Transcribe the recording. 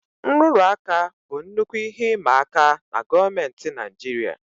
Nrụrụ aka bụ nnukwu ihe ịma aka nke gọọmentị Naijiria